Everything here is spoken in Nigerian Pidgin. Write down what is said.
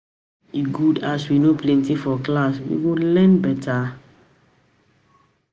e good as we no plenty for class, we go learn better